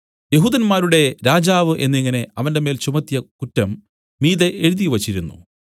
യെഹൂദന്മാരുടെ രാജാവ് എന്നിങ്ങനെ അവന്റെമേൽ ചുമത്തിയ കുറ്റം മീതെ എഴുതിവച്ചിരുന്നു